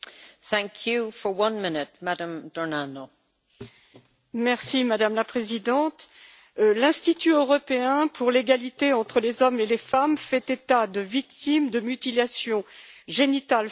Madame la Présidente, l'Institut européen pour l'égalité entre les hommes et les femmes fait état de victimes de mutilations génitales féminines dans environ la moitié des États de l'Union européenne.